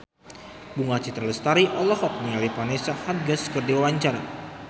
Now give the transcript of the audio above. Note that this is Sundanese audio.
Bunga Citra Lestari olohok ningali Vanessa Hudgens keur diwawancara